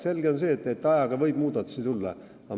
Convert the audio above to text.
Selge on see, et ajaga võib muudatusi tulla.